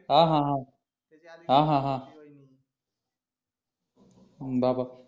हा हा हा हा हा हम्म बाबा